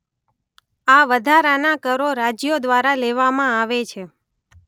આ વધારાના કરો રાજ્યો દ્વારા લેવામાં આવે છે